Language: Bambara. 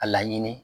A laɲini